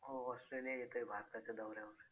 हो Australia येतंय भारताच्या दौऱ्यावर